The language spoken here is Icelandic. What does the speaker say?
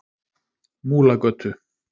Múlagötu